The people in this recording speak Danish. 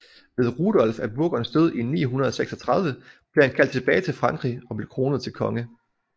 Ved Rudolf af Burgunds død i 936 blev han kaldt tilbage til Frankrig og blev kronet til konge